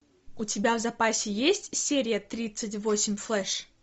у тебя в запасе есть серия тридцать восемь флэш